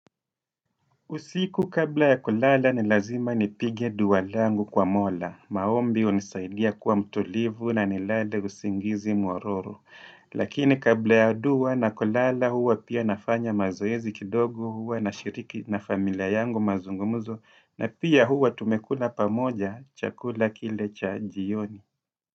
Usiku kabla ya kulala ni lazima nipige dua langu kwa mola. Maombi hunisaidia kuwa mtulivu na nilale usingizi mwororo. Lakini kabla ya dua na kulala huwa pia nafanya mazoezi kidogo huwa nashiriki na familia yangu mazungumzo. Na pia huwa tumekula pamoja chakula kile cha jioni.